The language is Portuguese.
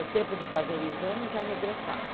O tempo de fazer o exame já regressava.